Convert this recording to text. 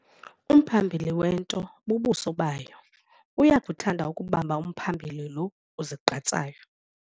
Umphambili wento bubuso bayo. Uyakuthanda ukubamba umphambili lo uzigqatsayo.